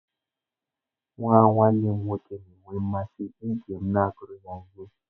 Nwa nwanne m nwoke na-enwe mmasị ige m na-agụrụ ya ihe.